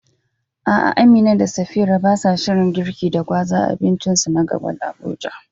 A'a Amina da Safira basa shirin girki da gwaza a abincinsu na gaba a Abuja.